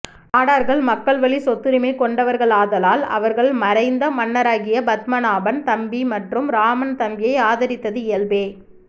நாடார்கள் மக்கள்வழி சொத்துரிமை கொண்டவர்களாதலால் அவர்கள் மறைந்த மன்னராகிய பத்மநாபன் தம்பி மற்றும் ராமன் தம்பியை ஆதரித்தது இயல்பே